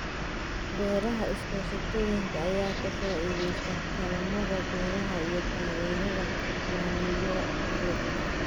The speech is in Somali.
Beeraha iskaashatooyinka ayaa ka faa'iideysta kaalmada beeraha iyo taageerada maaliyadeed.